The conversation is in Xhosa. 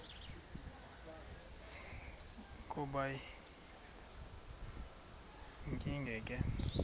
kube yinkinge ke